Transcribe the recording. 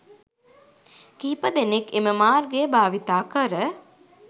කිහිපදෙනෙක් එම මාර්ගය භාවිතා කර